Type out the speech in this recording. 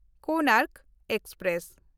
Konark express